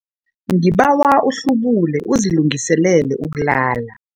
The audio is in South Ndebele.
Ngibawa uhlubule uzilungiselele ukulala.